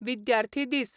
विद्यार्थी दीस